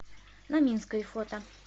на минской фото